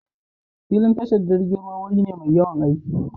Filin tashar jirgin ruwa wuri ne mai yawan aiki.